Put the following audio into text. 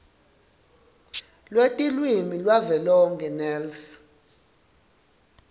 lwetilwimi lwavelonkhe nls